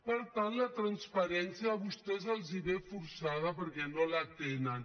per tant la transparència a vostès els ve forçada per·què no la tenen